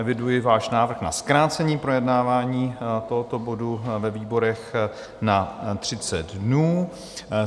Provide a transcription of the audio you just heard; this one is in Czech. Eviduji váš návrh na zkrácení projednávání tohoto bodu ve výborech na 30 dnů.